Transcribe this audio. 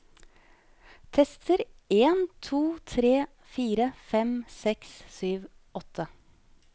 Tester en to tre fire fem seks sju åtte